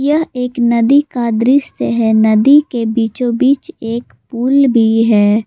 यह एक नदी का दृश्य है नदी के बीचों बीच एक पुल भी है।